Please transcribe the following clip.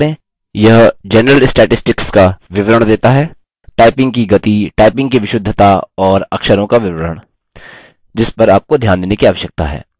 यह general statistics का विवरण देता है typing की गति typing की विशुद्धता और अक्षरों का विवरण जिस पर आपको ध्यान देने की आवश्यकता है